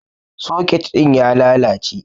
Soket ɗin ya lalace.